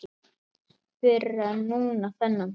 Fyrr en núna þennan dag.